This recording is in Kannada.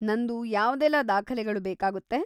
ನಂದು ಯಾವ್ದೆಲ್ಲ ದಾಖಲೆಗಳು ಬೇಕಾಗುತ್ತೆ?